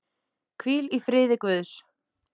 Hvíl í friði Guðs.